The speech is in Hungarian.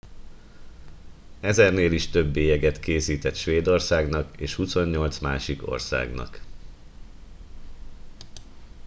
ezernél is több bélyeget készített svédországnak és 28 másik országnak